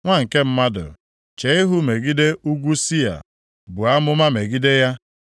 “Nwa nke mmadụ, chee ihu imegide nʼugwu Sia, buo amụma megide ya,